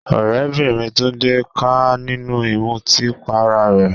Ọ̀rẹ́bìnrin Tunde ká a nínú ìmutí para rẹ̀.